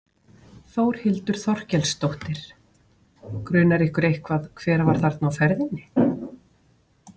Þórhildur Þorkelsdóttir: Grunar ykkur eitthvað hver var þarna á ferðinni?